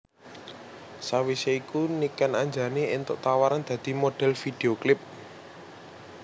Sawisé iku Niken Anjani éntuk tawaran dadi modhel video klip